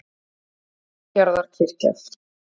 Siglufjarðarkirkju